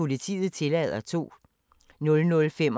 Søndag d. 30. juli 2017